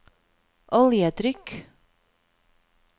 oljetrykk